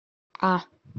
а